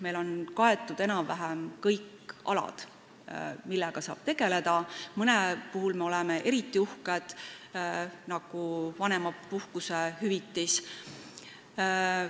Meil on kaetud enam-vähem kõik alad, millega saab tegeleda, mõne asja üle me oleme eriti uhked, nagu vanemahüvitise üle.